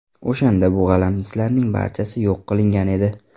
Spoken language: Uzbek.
O‘shanda bu g‘alamislarning barchasi yo‘q qilingan edi”.